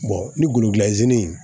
ni goloki in